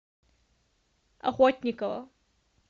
охотникова